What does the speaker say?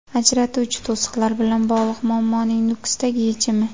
Ajratuvchi to‘siqlar bilan bog‘liq muammoning Nukusdagi yechimi.